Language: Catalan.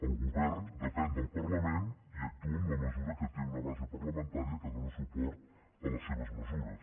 el govern depèn del parlament i actua en la mesura que té una base parlamentària que dóna suport a les seves mesures